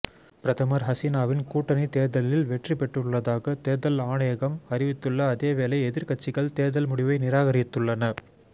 பிரதமர் ஹசீனாவின் கூட்டணி தேர்தலில் வெற்றிபெற்றுள்ளதாக தேர்தல் ஆணையகம் அறிவித்துள்ள அதேவேளை எதிர்கட்சிகள் தேர்தல் முடிவை நிராகரித்துள்ளன